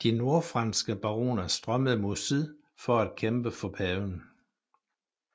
De nordfranske baroner strømmede mod syd for at kæmpe for paven